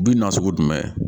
Bin na sugu jumɛn